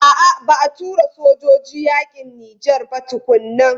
A'a ba a tura sojoji yakin Nijar ba tukuna.